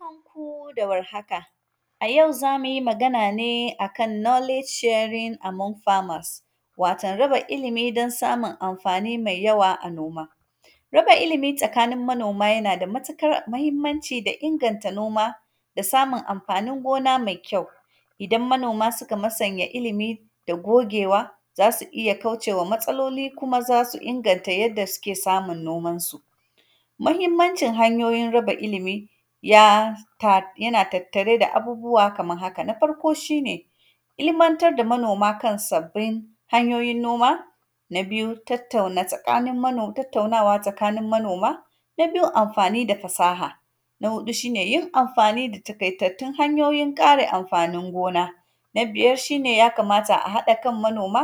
Barkan ku da warhaka, a yau za mu yi magan a ne a kan “knowledge sharing among farmers”, waton raba ilimi don samun amfani mai yawa noma. Raba ilimi tsakanin manoma yana da matikar mahimmanci da inganta noma da samun amfanin gona mai kyau. Idan manoma sika masanya ilimi da gogewa, za si iya kauce wa matsaloli kuma za su inganta yanda sike samun nomansu. Mahimmancin hanyoyin raba ilimi, ya ta; yana tattare da abubuwa kamar haka, na farko, shi ne ilimantar da manoma kan sabbin hanyoyin noma. Na biyu, tattauna tsakanin manom; tattaunawa tsakanin manoma, na biyu, amfani da fasaha, na huɗu, shi ne yin amfani da takaitattun hanyoyin kare amfanin gona. Na biyar, shi ne ya kamata a haɗa kan manoma,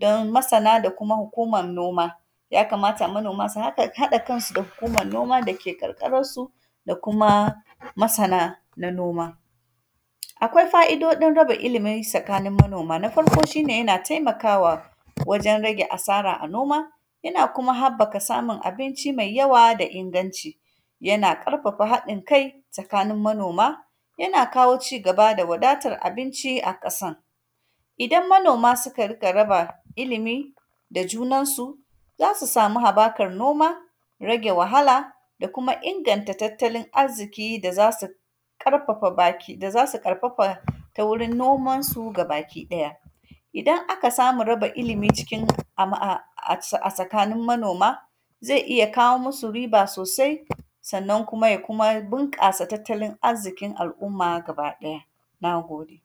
donmasana da kuma hukumar noma. Ya kamata manoma su haka; haɗa kansu da hukumar noma da ke ƙarƙararsu da kuma masana na noma. Akwai fa’idoɗin raba ilimi sakanin manoma, na farko, shi ne yana temaka wa wajen rage asara a noma, yana kuma habbaka samun abinci mai yawa da inganci. Yana ƙarfafa haɗin-kai tsakanin manoma, yana kawo cigaba da wadatar abinci a ƙasan. Idan manoma sika rika raba ilimi da junansu, za su sami habakar noma, rage wahala da kuma inganta tattalin azziki da za si ƙarfafa baki, da za si ƙarfafa ta wurin nomansu gabakiɗaya. Idan aka samu raba ilimi cikin am; a, ac, a sakanin manoma, ze iya kawo musu riba sosai, sannan kuma, ya kuma binƙasa tattalin azzikin al’umma gabaɗaya, na gode.